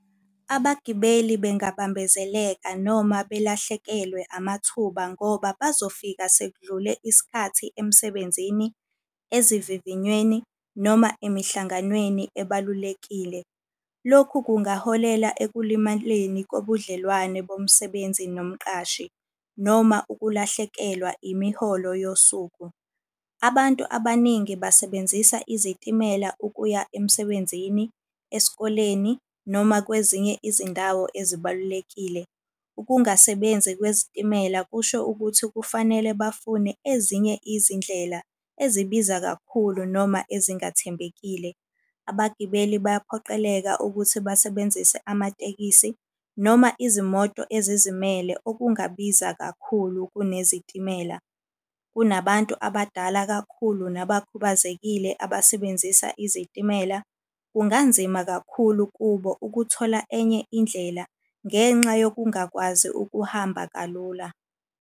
Abagibeli bengabambezeleka noma belahlekelwe amathuba ngoba bazofika sekudlule isikhathi emsebenzini, ezivivinyweni, noma emihlanganweni ebalulekile. Lokhu kungaholela ekulimaleni kobudlelwane bomsebenzi nomqashi, noma ukulahlekelwa imiholo yosuku. Abantu abaningi basebenzisa izitimela ukuya emsebenzini, esikoleni, noma kwezinye izindawo ezibalulekile. Ukungasebenzi kwezitimela kusho ukuthi kufanele bafune ezinye izindlela ezibiza kakhulu noma ezingathembekile. Abagibeli bayaphoqeleka ukuthi basebenzise amatekisi noma izimoto ezizimele okungabiza kakhulu kunezitimela. Kunabantu abadala kakhulu nabakhubazekile abasebenzisa izitimela. Kunganzima kakhulu kubo ukuthola enye indlela, ngenxa yokungakwazi ukuhamba kalula.